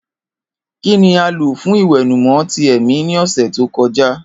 Kini a lo fun iwẹnumọ ti ẹmi ni ọsẹ to kọja?